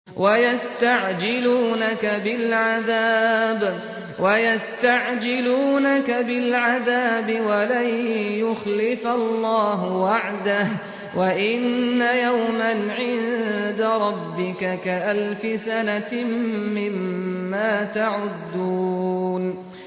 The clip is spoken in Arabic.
وَيَسْتَعْجِلُونَكَ بِالْعَذَابِ وَلَن يُخْلِفَ اللَّهُ وَعْدَهُ ۚ وَإِنَّ يَوْمًا عِندَ رَبِّكَ كَأَلْفِ سَنَةٍ مِّمَّا تَعُدُّونَ